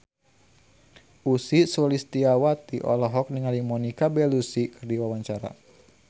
Ussy Sulistyawati olohok ningali Monica Belluci keur diwawancara